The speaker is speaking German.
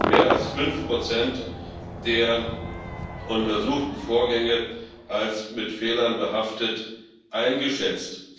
mehr als fünf Prozent der untersuchten Vorgänge als mit Fehlern behaftet eingeschätzt.